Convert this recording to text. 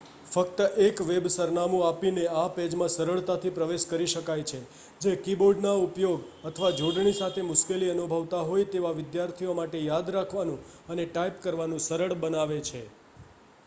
ફક્ત એક વેબ સરનામું આપીને આ પેજમાં સરળતાથી પ્રવેશકરી શકાય છે જે કીબોર્ડના ઉપયોગ અથવા જોડણી સાથે મુશ્કેલી અનુભવતા હોય તેવા વિદ્યાર્થીઓ માટે યાદ રાખવાનું અને ટાઇપ કરવાનું સરળ બનાવે છે